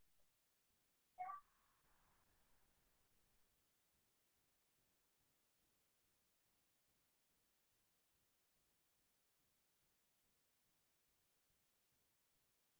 এতিয়া আগুন্তোক বছৰত china ত কে আমাৰ ভাৰত খনে জনসংখ্যাৰ সেত্ৰত আগবাঢ়ি যাব বুলি এটা ধাৰণা হৈছে